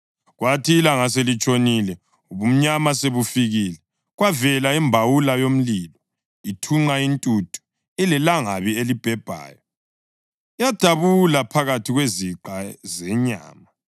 Kwathi ilanga selitshonile, ubumnyama sebufikile, kwavela imbawula yomlilo, ithunqa intuthu, ilelangabi elibhebhayo, yadabula phakathi kweziqa zenyama.